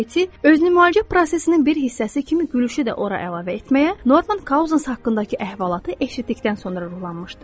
Katie özünü müalicə prosesinin bir hissəsi kimi gülüşü də ora əlavə etməyə, Norman Cousins haqqındakı əhvalatı eşitdikdən sonra ruhlanmışdı.